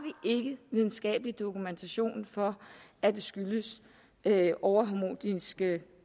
videnskabelig dokumentation for at det skyldes overharmoniske